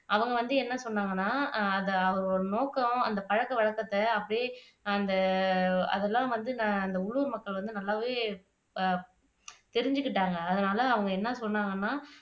அவங்க வந்து என்ன சொன்னாங்கன்னா அஹ் அது ஒரு நோக்கம் அந்த பழக்கவழக்கத்தை அப்படியே அந்த அதெல்லாம் வந்து நான் அந்த உள்ளூர் மக்கள் வந்து நல்லாவே அஹ் தெரிஞ்சுகிட்டாங்க அதனால அவங்க என்ன சொன்னாங்கன்னா